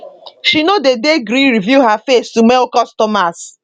she no dey dey gree reveal her face to male customers